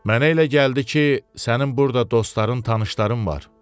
Mənə elə gəldi ki, sənin burda dostların, tanışların var.